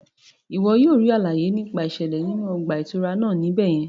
Iwọ yóò ríi àlàyé nípa iṣẹlẹ inú ọgbà itúrá náà ní ibẹ yẹn